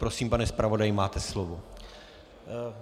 Prosím, pane zpravodaji, máte slovo.